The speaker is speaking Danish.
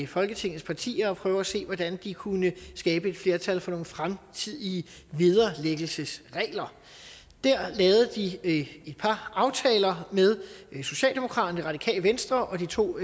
folketingets partier og prøve at se hvordan de kunne skabe et flertal for nogle fremtidige vederlæggelsesregler der lavede de et par aftaler med socialdemokratiet radikale venstre og de to